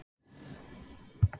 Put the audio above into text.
Sindri: Ertu feginn niðurstöðunni?